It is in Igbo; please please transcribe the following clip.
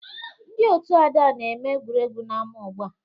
Ndị otu Ada na-eme egwuregwu n'ámá ugbu a